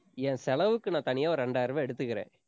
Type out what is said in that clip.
என் செலவுக்கு நான் தனியா ஒரு ரெண்டாயிரம் ரூபாய் எடுத்துக்கிறேன்.